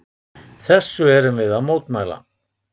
Þessu erum við að mótmæla.